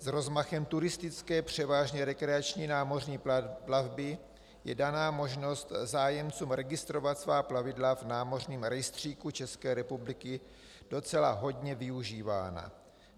S rozmachem turistické, převážně rekreační námořní plavby je daná možnost zájemcům registrovat svá plavidla v námořním rejstříku České republiky docela hodně využívána.